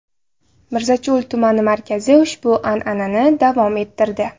Mirzacho‘l tumani markazi ushbu an’anani davom ettirdi.